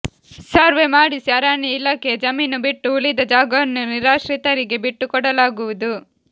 survey ಮಾಡಿಸಿ ಅರಣ್ಯ ಇಲಾಖೆಯ ಜಮೀನು ಬಿಟ್ಟು ಉಳಿದ ಜಾಗವನ್ನು ನಿರಾಶ್ರಿತರಿಗೆ ಬಿಟ್ಟುಕೊಡಲಾಗುವುದು